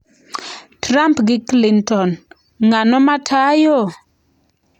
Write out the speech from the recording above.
Trump gi Clinton: Ng'ano ma tayo?